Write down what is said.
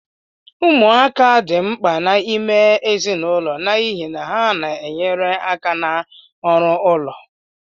Ụmụaka dị mkpa n'ime ezinụlọ n'ihi na ha na-enyere aka n'ọrụ ụlọ